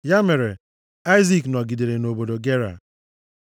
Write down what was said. Ya mere, Aịzik nọgidere nʼobodo Gera.